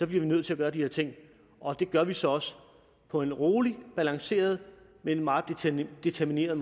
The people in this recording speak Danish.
vi nødt til at gøre de her ting og det gør vi så også på en rolig balanceret men meget determineret